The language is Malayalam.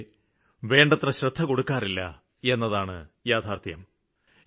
പക്ഷേ വേണ്ടത്ര ശ്രദ്ധ കൊടുക്കാറില്ല എന്നതാണ് യാഥാര്ത്ഥ്യം